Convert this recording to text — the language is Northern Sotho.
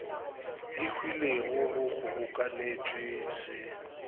e hwilego go kgobokanetšwe se